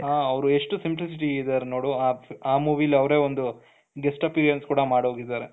ಹ ಅವರೆಷ್ಟು simplicity ಇದ್ದಾರೆ ನೋಡು ಆ movieಯಲ್ಲಿ ಅವರೇ ಒಂದು guest appearance ಕೂಡ ಮಾಡಿ ಹೋಗಿದ್ದಾರೆ,